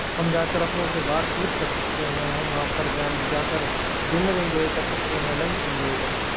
हम जाकर अपनों से बातचीत कर सकते हैं हम वहां पर जान जाकर डिनर इंजॉय कर सकते हैं लंच इंजॉय कर सक--